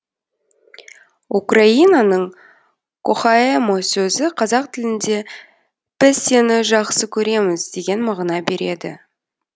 украинаның кохаэмо сөзі қазақ тілінде біз сені жақсы көреміз деген мағына береді